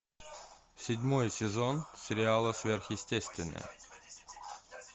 седьмой сезон сериала сверхъестественное